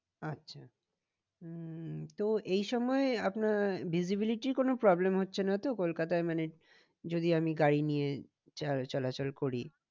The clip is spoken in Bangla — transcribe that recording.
আচ্ছা উম তো এই সময়ে আপনার visibility কোনো problem হচ্ছে না তো কলকাতায় মানে যদি আমি গাড়ি নিয়ে চলাচল করি